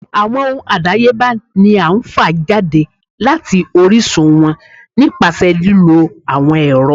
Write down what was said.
Awọn ohún adáyébá ní a fá jade latí orisun wọn nipasẹ lilo awọn ẹrọ.